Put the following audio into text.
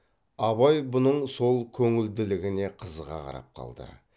абай бұның сол көңілділігіне қызыға қарап қалды